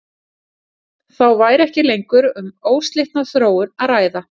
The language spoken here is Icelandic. Þá væri ekki lengur um óslitna þróun að ræða.